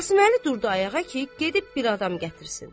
Qasıməli durdu ayağa ki, gedib bir adam gətirsin.